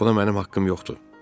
Buna mənim haqqım yoxdur.